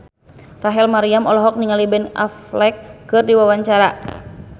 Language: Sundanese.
Rachel Maryam olohok ningali Ben Affleck keur diwawancara